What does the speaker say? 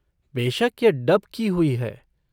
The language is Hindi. बेशक यह डब की हुई है।